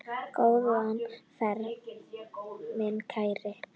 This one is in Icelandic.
Góða ferð mín kæru.